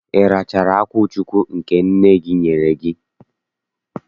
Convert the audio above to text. Ị rachaala akwụchukwu nke nne gị nyere gị?